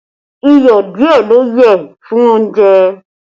Iyọ̀ díẹ̀ ló yẹ fún oúnjẹ